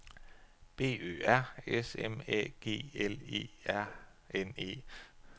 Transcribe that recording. B Ø R S M Æ G L E R N E